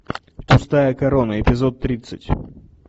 пустая корона эпизод тридцать